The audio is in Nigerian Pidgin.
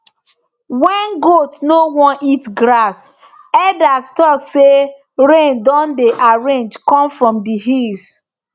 when goat no want eat grass elders talk say rain don dey arrange come from the hills